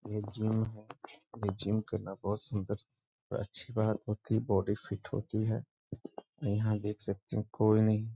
ये जिम है। ये जिम करना बहुत ही अच्छी बात होती है बॉडी फिट होती है। यहाँ देख सकते हैं कोई नहीं --